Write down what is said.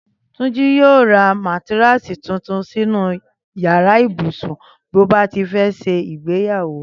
Túnjí yóò ra mátáráàsì tuntun sínú yàrá ibùsùn bí ó bá ti fẹ́ ṣe ìgbéyàwó